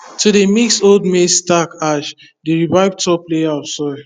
to dey mix old maize stalk ash dey revive top layer of soil